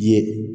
Ye